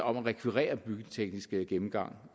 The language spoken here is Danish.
om at rekvirere en byggeteknisk gennemgang